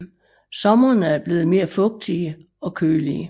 Sommerene er blevet mere fugtige og kølige